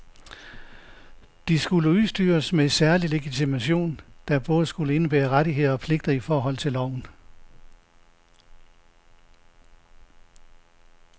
De skulle udstyres med særlig legitimation, der både skulle indebære rettigheder og pligter i forhold til loven.